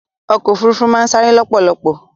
ọ̀kọ̀ ofúrúfú màà n sare lọ́pọ̀lọ̀pọ̀